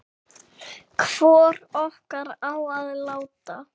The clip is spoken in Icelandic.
Hvor okkar á að láta